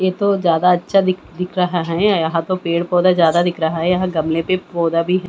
ये तो ज्यादा अच्छा दिख दिख रहा है यहां तो पेड़ पौधा ज्यादा दिख रहा है यहां गमले पे पौधा भी ह--